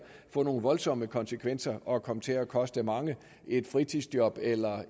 få nogle voldsomme konsekvenser og komme til at koste mange et fritidsjob eller